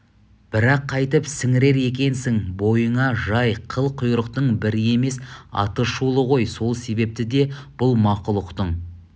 бірақ қайтіп сіңірер екенсің бойыңа жай қыл-құйрықтың бірі емес атышулы ғой сол себепті де бұл мақұлықтың